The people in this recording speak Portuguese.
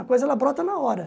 A coisa ela brota na hora.